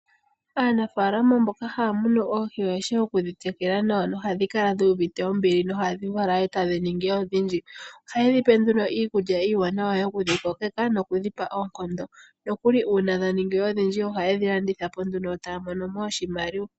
Aanafaalama mboka haya munu oohi oyeshi okudhi tekula nawa nohadhi kala dhu uvite ombili nohadhi vala e tadhi ningi odhindji. Ohaye dhi pe nduno iikulya iiwaanawa yokudhi kokeka nokudhi pa oonkondo nokuli uuna dha ningi odhindji ohaye dhi landitha po nduno yo taya mono mo oshimaliwa.